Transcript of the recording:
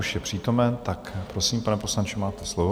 Už je přítomen, tak prosím, pane poslanče, máte slovo.